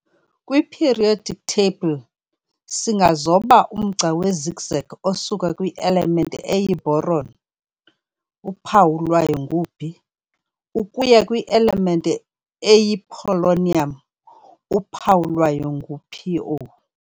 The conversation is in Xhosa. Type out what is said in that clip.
Kwi-periodic table, singazoba umgca we-zigzag osuka kwi-element eyi-boron, uphawu lwayo ngu-B, ukuya kwi-element eyi-polonium, uphawu lwayo ngu-Po.